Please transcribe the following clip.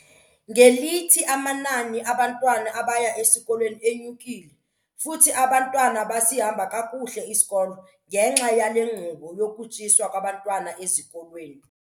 Ngelithi, amanani abantwana abaya esikolweni enyukile futhi abantwana basihamba kakuhle isikolo ngenxa yale nkqubo yokutyiswa kwabantwana ezikolweni.